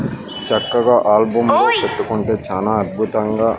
చక్కగా ఆల్బమ్ లో పెట్టుకుంటే చానా అద్భుతంగా.